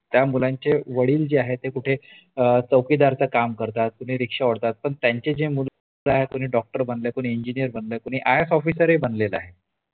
त्या मुलांचे वडील जे आहेत ते कुठे चौकीदारचं काम करतात कुठे रिक्षा ओढतात पण त्यांची जी मुले आहेत तर कुणी डॉक्टर बनलय कोणी इंजिनीर बनलय कुणी आई. ये. स ही बनलेल आहे